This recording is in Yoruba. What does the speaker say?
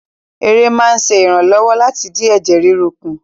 Ère máa ń ṣe ìrànlọ́wọ́ láti dín ẹ̀jẹ̀ ríru kù